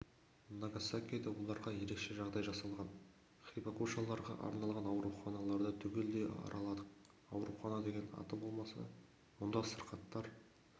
нагасакиде оларға ерекше жағдай жасалған хибакушаларға арналған ауруханаларды түгелдей араладық аурухана деген аты болмаса мұнда сырқаттар